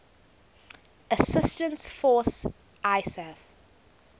assistance force isaf